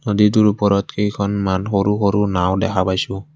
নদীটোৰ ওপৰত কেইখনমান সৰু সৰু নাওঁ দেখা পাইছোঁ।